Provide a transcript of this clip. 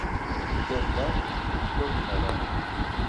кто прав кто виноват